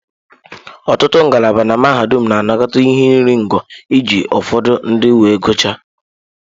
Ọtụtụ ngalaba na mahadum na-anakọta ihe iri ngo iji ụfọdụ ndị wee gụchaa.